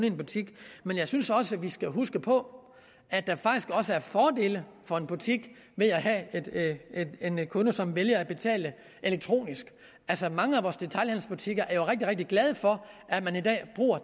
en butik men jeg synes også vi skal huske på at der faktisk er fordele for en butik ved at have en en kunde som vælger at betale elektronisk altså mange af vores detailhandelsbutikker er jo rigtig rigtig glade for at man i dag bruger